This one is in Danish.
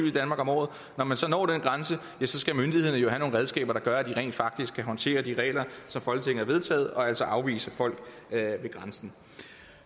i danmark om året og man så når den grænse ja så skal myndighederne jo have nogle redskaber der gør at de rent faktisk kan håndtere de regler som folketinget har vedtaget og altså afvise folk ved grænsen